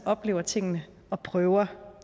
oplever tingene og prøver